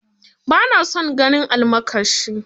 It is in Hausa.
Ba na son ganin almakashi